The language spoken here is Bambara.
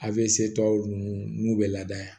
A bɛ se tɔ ninnu n'u bɛ laada yan